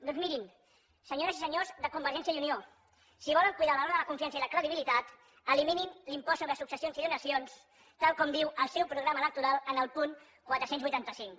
doncs mirin senyores i senyors de convergència i unió si volen cuidar el valor de la confiança i la credibilitat eliminin l’impost sobre successions i donacions tal com diu el seu programa electoral en el punt quatre cents i vuitanta cinc